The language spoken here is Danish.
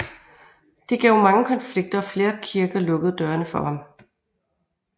Det gav mange konflikter og flere kirker lukkede dørene for ham